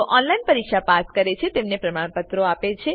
જેઓ ઓનલાઈન પરીક્ષા પાસ કરે છે તેઓને પ્રમાણપત્રો આપે છે